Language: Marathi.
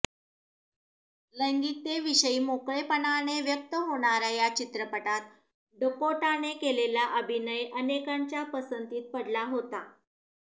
लैंगिकतेविषयी मोकळेपणाने व्यक्त होणाऱ्या या चित्रपटात डकोटाने केलेला अभिनय अनेकांच्या पसंतीस पडला होता